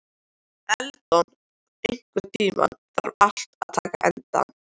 Eldon, einhvern tímann þarf allt að taka enda.